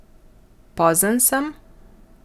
Pozen sem?